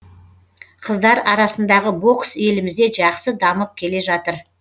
қыздар арасындағы бокс елімізде жақсы дамып келе жатыр